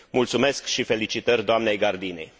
Mulțumesc și felicitări doamnei Gardini.